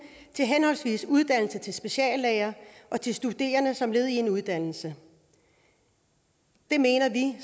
til henholdsvis uddannelse til speciallæger og til studerende som led i deres uddannelse det mener vi